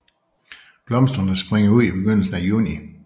Blomsterne springer ud i begyndelsen af juni